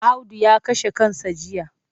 Audu ya kashe kansa jiya.